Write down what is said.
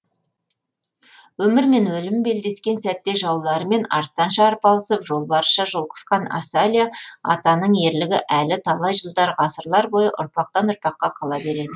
өмір мен өлім белдескен сәтте жауларымен арыстанша арпалысып жолбарысша жұлқысқан асалия атаның ерлігі әлі талай жылдар ғасырлар бойы ұрпақтан ұрпаққа қала береді